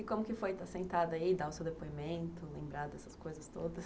E como que foi estar sentada aí, dar o seu depoimento, lembrar dessas coisas todas?